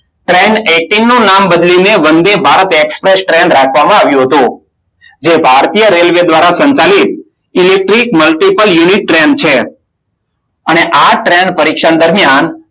Train eighteen નું નામ બદલીને વંદે ભારત એક્સપ્રેસ ટ્રેન રાખવામાં આવ્યું હતું. જે ભારતીય રેલવે દ્વારા સંચાલિત ઇલેક્ટ્રીક મલ્ટીપલ યુનિટ ટ્રેન છે. અને આ ટ્રેન પરીક્ષણ દરમિયાન